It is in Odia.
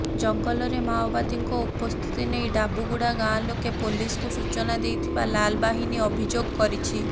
ଜଙ୍ଗଲରେ ମାଓବାଦୀଙ୍କ ଉପସ୍ଥିତି ନେଇ ଡାବୁଗୁଡ଼ା ଗାଁ ଲୋକେ ପୋଲିସକୁ ସୂଚନା ଦେଇଥିବା ଲାଲବାହିନୀ ଅଭିଯୋଗ କରିଛି